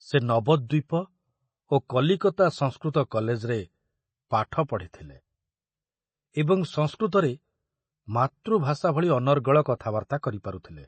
ସେ ନବଦ୍ୱୀପ ଓ କଲିକତା ସଂସ୍କୃତ କଲେଜରେ ପାଠ ପଢ଼ିଥିଲେ ଏବଂ ସଂସ୍କୃତରେ ମାତୃଭାଷା ଭଳି ଅନର୍ଗଳ କଥାବାର୍ତ୍ତା କରିପାରୁଥିଲେ।